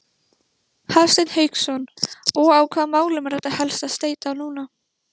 Hafsteinn Hauksson: Og á hvaða málum er þetta helst að steyta núna?